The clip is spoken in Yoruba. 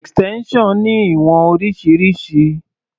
Extension ní ìwọ̀n oríṣiríṣi.